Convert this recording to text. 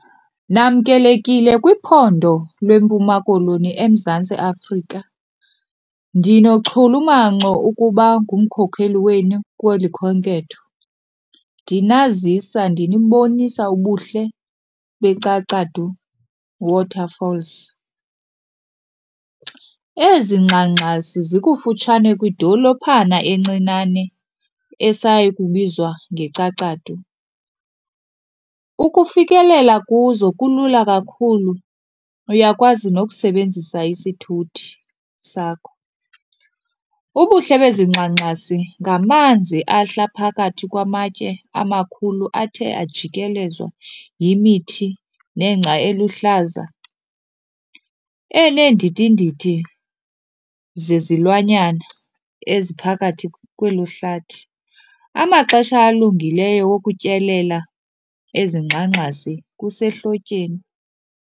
Namkelekile kwiphondo leMpuma Koloni eMzantsi Afrika. Ndinochulumanco ukuba ngumkhokheli wenu kweli khenketho ndinazisa ndinibonisa ubuhle beCacadu Waterfalls. Ezi ngxangxasi zikufutshane kwidolophana encinane esaya kubizwa ngeCacadu. Ukufikelela kuzo kulula kakhulu, uyakwazi nokusebenzisa isithuthi sakho. Ubuhle bezi ngxangxasi ngamanzi ahla phakathi kwamatye amakhulu athe ajikelezwa yimithi nengca eluhlaza eneendidindidi zezilwanyana eziphakathi kwelo hlathi. Amaxesha alungileyo okutyelela ezingxangxasi kusehlotyeni.